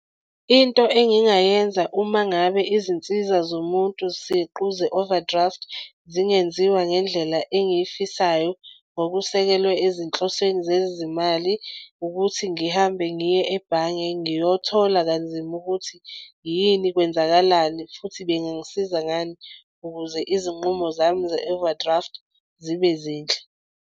Into engingayenza uma ngabe izinsiza zomuntu siqu ze-overdraft zingenziwa ngendlela engiyifisayo ngokusekelwe ezinhlosweni zezimali ukuthi ngihambe ngiye ebhange ngiyothola kanzima ukuthi yini kwenzakalani futhi bengangisiza ngani. Ukuze izinqumo zami ze-overdraft zibe zinhle.